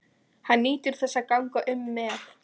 Hann nýtur þess að ganga um með